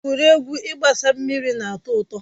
Egwuregwu ịgbasa mmiri na atọ ụtọ.